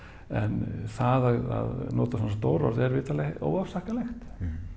en það að nota svona stór orð er vitanlega óafsakanlegt